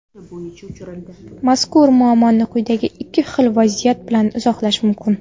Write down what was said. Mazkur muammoni quyidagi ikki xil vaziyat bilan izohlash mumkin.